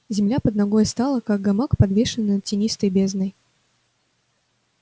земля под ногой стала как гамак подвешенный над тинистой бездной